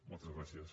moltes gràcies